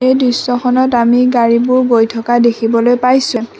এই দৃশ্যখনত আমি গাড়ীবোৰ গৈ থকা দেখিবলৈ পাইছোঁ।